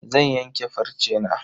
Zan yanke farcena.